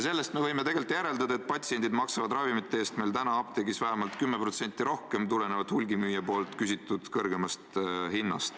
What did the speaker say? Sellest me võime järeldada, et patsiendid maksavad ravimite eest apteegis vähemalt 10% rohkem, sest hulgimüüja küsib kõrgemat hinda.